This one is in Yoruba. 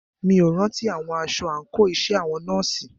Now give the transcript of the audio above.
Mí ò rántí àwọ̀ aṣọ àńkò iṣẹ́ àwọn nọ́ọ̀sì.